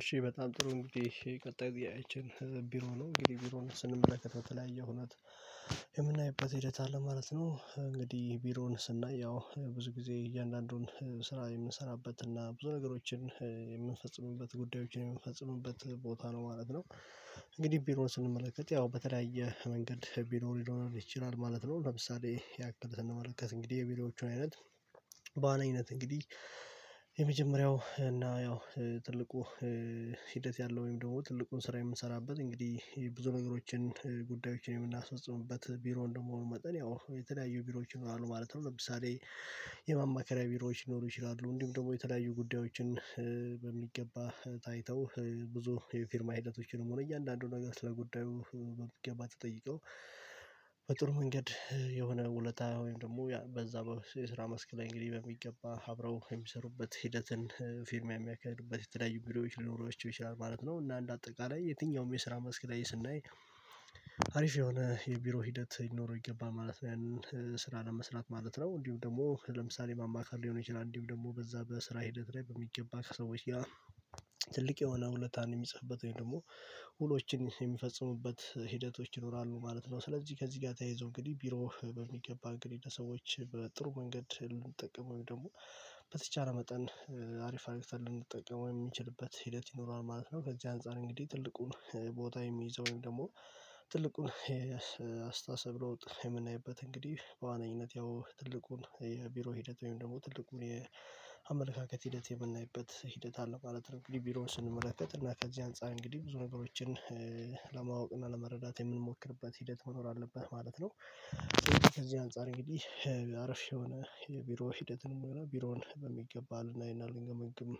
እሺ በጣም ጥሩ እንግዲህ ቀጥይ ችን ቢሮ ነው እንግዲህ ቢሮ ነው ስንመለከተው በተለያየ ሁኔታ የምናይበት ሂደት አለ ማለት ነው። እንግዲህ ቢሮውን ስናይ ያው ብዙ ጊዜ እያንዳንዱን ስራ የምንሰራበት እና ብዙ ነገሮችን የምንፈጽምበት ጉዳዮችን የምንፈጽሙበት ቦታ ነው ማለት ነው። እንግዲህ ቢሮን ስንመለከት ያው በተለያየ መንገድ ቢሮ ሊኖር ይችላል ማለት ነው። ለምሳሌ ያክል ስንመለከት እንግዲህ የቢሮዎቹን አይነት በዋናኘት እንግዲህ የመጀመሪያው እና ያው ትልቁ ሂደት ያለው ወይም ደግሞ ትልቁን ስራ የምንሰራበት እንግዲህ ብዙ ነገሮችን ጉዳዮችን የምናስፈጽምበት ቢሮ እንደመሆኑ መጠን ያው የተለያዩ ቢሮዎች ይኖራሉ ማለት ነው። ለምሳሌ የማማከሪያ ቢሮዎች ሊኖሩ ይችላሉ እንዲሁም ደግሞ የተለያዩ ጉዳዮችን በሚገባ ታይተው ብዙ የፊርማ ሂደቶችንም ሆነ እያንዳንዱን ነገር ስለጉዳዩ መገባት ተጠይቀው በጥሩ መንገድ የሆነ ውለታ ወይም ደግሞ ያ በዛ በስራ መስክ ላይ እንግዲህ በሚገባ አብረው የሚሰሩበት ሂደትን ፊርሚያ የሚያከያዱበት የተለያዩ ቪዲዮዎች ሊኖሯቸው ይችላል ማለት ነው። እና እንደ አጠቃላይ የትኛውም የስራ መስክ ላይ ስናይ አሪፍ የሆነ የቢሮ ሂደት ሊኖረው ይገባል ማለት ነው ያንን ስራ ለመስራት ማለት ነው። እንዲሁ ደግሞ ለምሳሌ ማማካር ሊሆን ይችላል እንዲሁ ደግሞ በዛ በስራ ሂደት ላይ በሚገባ ከሰዎች ያ ትልቅ የሆነ ሁለታን የሚጽፍበት ወይ ደግሞ ውሎችን የሚፈጽሙበት ሂደቶች ይኖራሉ ማለት ነው። ስለዚህ ከዚህ ጋር ተያይዞ እንግዲህ ቢሮ በሚገባ እንግዲህ ለሰዎች በጥሩ ልንጠቀም ወይ ደግሞ በተቻለ መጠን አሪፍ አሪፍ አሪፍ ልንጠቀመው የሚችልበት ሂደት ይኖረዋል ማለት ነው። ከዚህ አንፃር እንግዲህ ትልቁን ቦታ የሚይዘውን ደግሞ ትልቁን አስተሳሰብ ለውጥ የምናይበት እንግዲህ በዋነኝነት ያው ትልቁን የቢሮ ሂደት ወይም ደግሞ ትልቁ የአመለካከት ሂደት የምናይበት ሂደት አለ ማለት ነው። እንግዲህ ቢሮውን ስንመለከት እና ከዚህ አንፃር እንግዲህ ብዙ ነገሮችን ለማወቅ ለመረዳት የምንሞክርበት ሂደት መኖር አለብህ ማለት ነው። ከዚህ አንፃር እንግዲህ አሪፍ የሆነ የቢሮ ሂደትንም ሆነ ቢሮን በሚገባ ልናይና ልንገመግም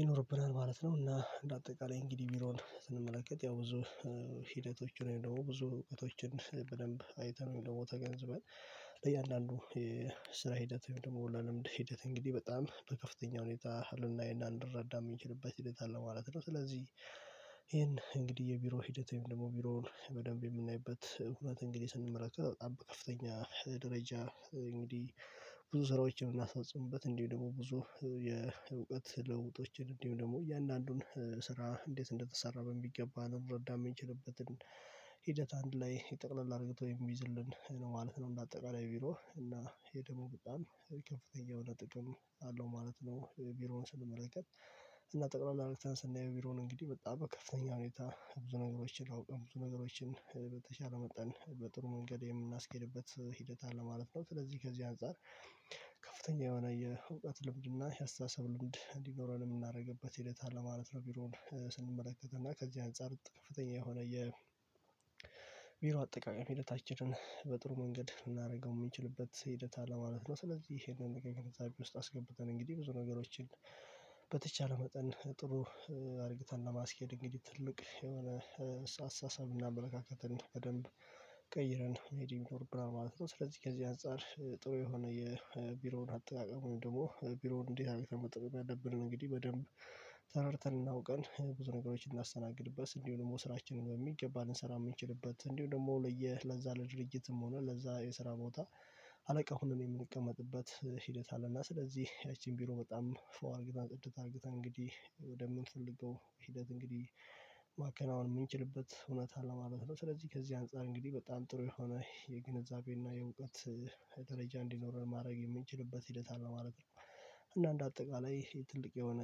ይኖርብናል ማለት ነው። እና በአጠቃላይ እንግዲህ ቢሮን ስንመለከት ያው ብዙ ሂደቶች ወይ ደግሞ ብዙ እውቀቶችን በደንብ አይተን ወይ ደግሞ ተገንዝበን እያንዳንዱ የስራ ሂደት ወይም ደግሞ ልምድ ሂደት እንግዲህ በጣም በከፍተኛ ሁኔታ ልናይና ልንረዳ የምንችልበት ሂደት አለ ማለት ነው። ስለዚህ ይሄን እንግዲህ የቢሮ ሂደት ወይም ደግሞ ቢሮን በደንብ የምናይበት እውነት እንግዲህ ስንመለከት በጣም በከፍተኛ ደረጃ እንግዲህ ብዙ ስራዎችን የምናስፈጽምበት እንዲህ ደግሞ ብዙ የእውቀት ልውውጦችን እንዲሁም ደግሞ እያንዳንዱን ስራ እንዴት እንደተሰራ በሚገባ ልንረዳ የምንችልበትን ሂደት አንድ ላይ ጠቅለል አርግቶ የሚይዝልን ማለት ነው። እና አጠቃላይ ቢሮ እና ይሄ ደግሞ በጣም ከፍተኛ የሆነ ጥቅም አለው ማለት ነው። ቢሮውን ስንመለከት እና ጠቅላላ አርግተን ቢሮውን እንግዲህ በጣም ከፍተኛ ሁኔታ ብዙ ነገሮችን አውቀን ብዙ ነገሮችን በተቻለ መጠን በጥሩ መንገድ የምናስኬድበት ሂደት አለ ማለት ነው። ስለዚህ ከዚህ አንፃር ከፍተኛ የሆነ የእውቀት ልምድና የአስተሳሰብ ልምድ እንዲኖረን የምናደርግበት ሂደት አለ ማለት ነው። ቢሮን ስንመለከት እና ከዚህ አንፃር ከፍተኛ የሆነ የ የቢሮ አጠቃቀም ሂደታችንን በጥሩ መንገድ ልናደርገው የምንችልበት ሂደት አለ ማለት ነው። ስለዚህ ይሄንን እንደገና ከግምት ውስጥ አስገብተን እንግዲህ ብዙ ነገሮችን በተቻለ መጠን ጥሩ አድርገን ለማስኬድ እንግዲህ ትልቅ የሆነ አሳሳብና አመለካከትን በደንብ ቀይረን መሄድ ይኖርብናል ማለት ነው። ስለዚህ ከዚህ አንፃር ጥሩ የሆነ የቢሮውን አጠቃቀሙን ደግሞ ቢሮውን እንዴት አርገን መጠቀም ያለብንን እንግዲህ በደንብ ተረድተን እና አውቀን ብዙ ነገሮችን ምናስተናግድበት እንዲሁ ደግሞ ስራችንን በሚገባ ልንሰራ የምንችልበት እንዲሁ ደግሞ ለየ ለዛ ለድርጅትም ሆነ ለዛ የስራ ቦታ አለቃ ሆነን የምንቀመጥበት ሂደት አለና ስለዚህ ያቺን ቢሮ በጣም ፏ አድርገን ጽድት አድርገን እንግዲህ ወደ ምንፈልገው ሂደት እንግዲህ ማከናወን የምንችልበት ሁኔታ አለ ማለት ነው። ስለዚህ ከዚህ አንፃር እንግዲህ በጣም ጥሩ የሆነ የግንዛቤና የእውቀት ደረጃ እንዲኖረን ማድረግ የምንችልበት ሂደት አለ ማለት ነው። እና እንደ አጠቃላይ ይሄ ትልቅ የሆነ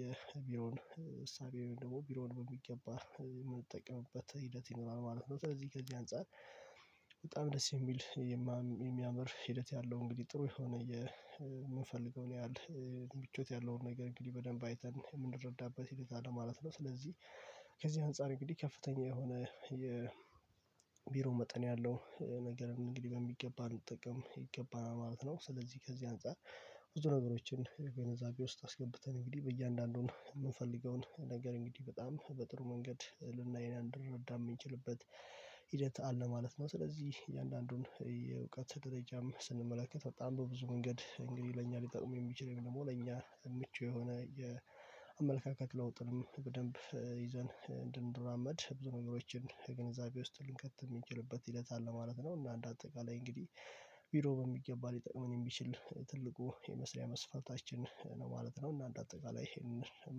የቢሮን እሳቤውን ደግሞ ቢሮን በሚገባ የምንጠቅምበት ሂደት ይኖራል ማለት ነው። ስለዚህ ከዚህ አንፃር በጣም ደስ የሚል የሚያምር ሂደት ያለው እንግዲህ ጥሩ የሆነ የምንፈልገውን ያህል ምቾት ያለውን ነገር እንግዲህ በደንብ አይተን የምንረዳበት ሁኔታ አለ ማለት ነው። ስለዚህ ከዚህ አንፃር እንግዲህ ከፍተኛ የሆነ የቢሮ መጠን ያለው ነገር እንግዲህ በሚገባ ነው ልንጠቀም ይገባናል ማለት ነው። ስለዚህ ከዚህ አንፃር ብዙ ነገሮችን በግንዛቤ ውስጥ አስገብተን እንግዲህ በእያንዳንዱን የምንፈልገውን ነገር እንግዲህ በጣም በጥሩ መንገድ ልናይ እና ልንድረዳም የምንችልበት ሂደት አለ ማለት ነው። ስለዚህ የእያንዳንዱን የእውቀት ደረጃም ስንመለከት በጣም በብዙ መንገድ እንግዲህ ለእኛ ሊጠቅም የሚችል ወይም ደግሞ ለእኛ ምቹ የሆነ የአመለካከት ለውጥንም በደንብ ይዘን እንድንራመድ ብዙ ነገሮችን ግንዛቤ ውስጥ ልንከት የምንችልበት ሂደት አለ ማለት ነው። እና አንድ አጠቃላይ እንግዲህ ቪዲዮ በሚገባ ሊጠቅመኝ የሚችል ትልቁ የመስሪያ መስፈርታችን ነው ማለት ነው። እና አንደ አጠቃላይ ይሄንን